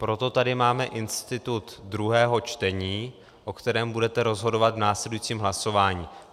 Proto tady máme institut druhého čtení, o kterém budete rozhodovat v následujícím hlasování.